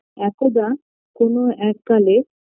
একদা কোন এক কালে